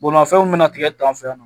Bolimafɛn mun bɛna tigɛ tan